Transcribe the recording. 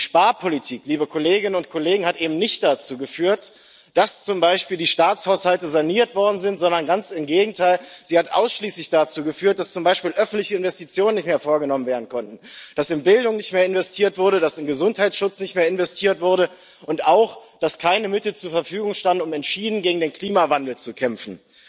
Die Sparpolitik hat eben nicht dazu geführt, dass zum Beispiel die Staatshaushalte saniert worden sind, sondern ganz im Gegenteil hat sie ausschließlich dazu geführt, dass zum Beispiel öffentliche Investitionen nicht mehr vorgenommen werden konnten, dass in Bildung nicht mehr investiert wurde, dass in Gesundheitsschutz nicht mehr investiert wurde, und auch dazu, dass keine Mittel zur Verfügung standen, um entschieden gegen den Klimawandel zu kämpfen.